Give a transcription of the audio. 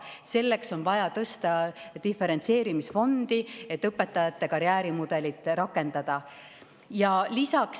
Selleks, et õpetajate karjäärimudelit rakendada, on vaja diferentseerimisfondi.